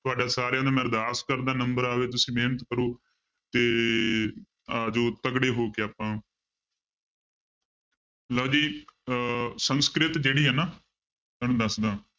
ਤੁਹਾਡਾ ਸਾਰਿਆਂ ਦਾ ਮੈਂ ਅਰਦਾਸ ਕਰਦਾ number ਆਵੇ ਤੁਸੀਂ ਮਿਹਨਤ ਕਰੋ ਤੇ ਆ ਜਾਓ ਤਕੜੇ ਹੋ ਕੇ ਆਪਾਂ ਲਓ ਜੀ ਅਹ ਸੰਸਕ੍ਰਿਤ ਜਿਹੜੀ ਹੈ ਨਾ ਤੁਹਾਨੂੰ ਦੱਸਦਾਂ